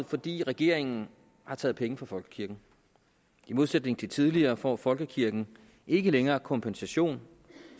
fordi regeringen har taget penge fra folkekirken i modsætning til tidligere får folkekirken ikke længere kompensation